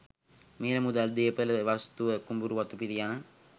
මිල මුදල්, දේපොළ වස්තුව, කුඹුරු වතුපිටි යන